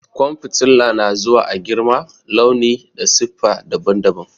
Ƙwan fitila na zuwa a girma, launi da siffa daban-daban.